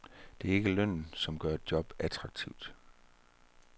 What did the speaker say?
Det er ikke lønnen, som gør et job attraktivt.